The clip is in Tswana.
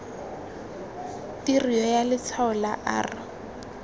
tirio ya letshwalo la r